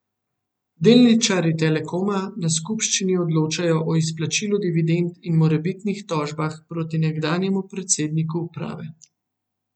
Delničarji Telekoma na skupščini odločajo o izplačilu dividend in morebitnih tožbah proti nekdanjemu predsedniku uprave.